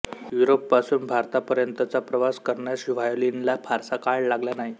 युरोपपासून भारतापर्यंतचा प्रवास करण्यास व्हायोलिनला फारसा काळ लागला नाही